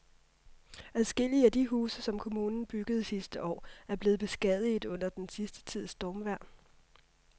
Adskillige af de huse, som kommunen byggede sidste år, er blevet beskadiget under den sidste tids stormvejr.